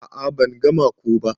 A'a ban gama ko ba.